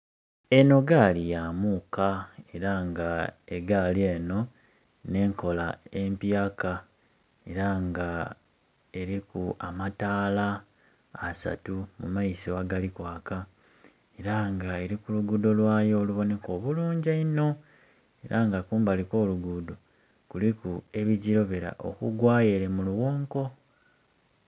Eno gaali ya muuka era nga egaali eno n'enkola empyaka era nga eriku amataala asatu mu maiso agali kwaka, era nga eri ku lugudho lwayo oluboneka obulungi eino era nga kumbali okw'olugudo kuliku ebigilobera okugwayo ere mu lughonko.